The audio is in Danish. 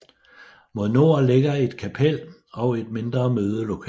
Mod nord ligger et kapel og et mindre mødelokale